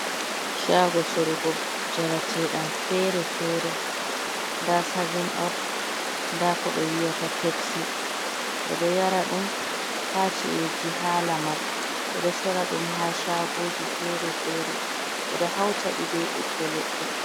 Shago sorugo njarete ɗam fere-fere. Nda savun op, nda koɓe wiyata pepsi, ɓe ɗo yara ɗum ha ci’eji, ha lamar. Ɓeɗo sora ɗum ha shagoji fere fere. Ɓeɗo hautaɗi be ɓiɓɓe leɗɗe.